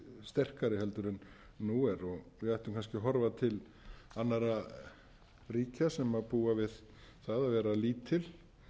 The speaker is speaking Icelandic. sterkari heldur en nú er við ættum kannski að horfa til annarra ríkja sem búa við það að vera lítil